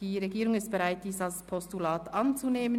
Die Regierung ist bereit, die Motion als Postulat anzunehmen.